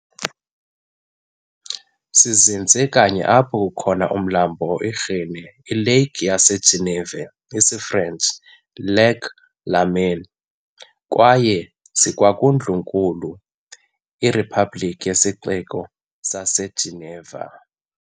Sizinze kanye apho kukho umlambo iRhône iLake yaseGeneva, isiFrench "iLac Léman", kwaye sikwangundlunkulu iRepublic nesixeko saseGeneva.